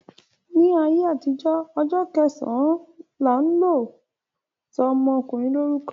Ní ayé àtijó, ọjọ́ kẹsàn-án lọ́ máa ń sọ ọmọkùnrin lórúkọ.